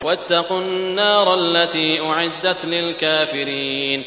وَاتَّقُوا النَّارَ الَّتِي أُعِدَّتْ لِلْكَافِرِينَ